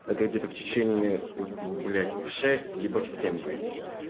это где-то в течение в блять в шесть либо в семь выйду